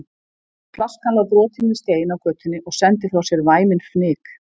En flaskan lá brotin við stein á götunni og sendi frá sér væminn fnyk.